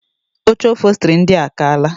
Oche ofostiri ndia a kaala.